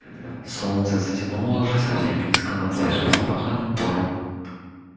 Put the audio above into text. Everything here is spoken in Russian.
солнце затянуло уже совсем низко над свежевспаханным полем